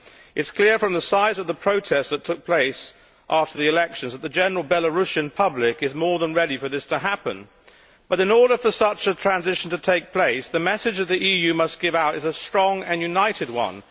It is clear from the size of the protest that took place after the elections that the general Belarusian public is more than ready for this to happen, but in order for such a transition to take place the message that the EU must give out it is a strong and united one.